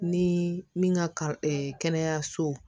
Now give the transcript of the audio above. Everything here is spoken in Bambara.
Ni min ka kɛnɛyasow